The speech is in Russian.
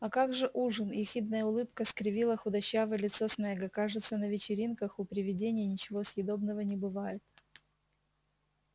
а как же ужин ехидная улыбка скривила худощавое лицо снегга кажется на вечеринках у привидений ничего съедобного не бывает